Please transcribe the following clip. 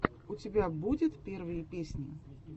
у тебя будет первые песни